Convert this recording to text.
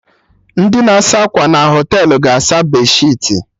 Ndị na-asa akwa na Họtelụ ga-asa bedsheetị